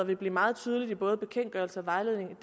vil blive meget tydeligt i både bekendtgørelse og vejledning